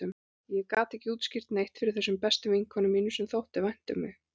Ég gat ekki útskýrt neitt fyrir þessum bestu vinkonum mínum, sem þótti vænt um mig.